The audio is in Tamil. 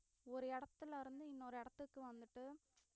ஒரு இடத்துல இருந்து இன்னொரு இடத்துக்கு வந்துட்டு